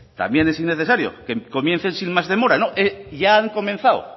también es innecesario que comiencen sin más demora no ya han comenzado